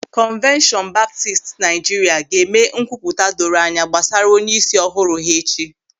Kongratuleshọn Baptist Naịjirịa ga-eme nkwupụta doro anya gbasara onyeisi ọhụrụ ha echi.